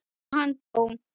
lá þar til hann dó.